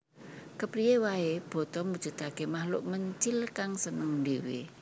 Kepriyé waé boto mujudaké makhluk mencil kang seneng ndhéwé